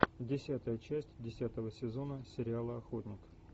десятая часть десятого сезона сериала охотник